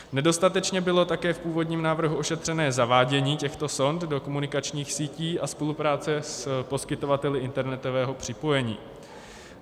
Nedostatečně bylo také v původním návrhu ošetřené zavádění těchto sond do komunikačních sítí a spolupráce s poskytovateli internetového připojení.